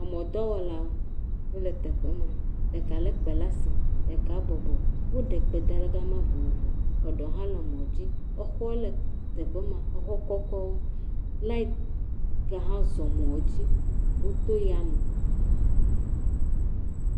Emɔ̃dɔwɔlawo, wole teƒe ma, ɖeka lé kpe le asi, ɖeka bɔbɔ. Woɖe kpe da le gama vovovo. Eɖewo le mɔ̃dzi. exɔ hã le teƒe ma, exɔ kɔkɔwo, laɛti ke ʋe azɔ mɔ̃dzi. woto yae.